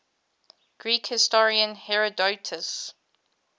greek historian herodotus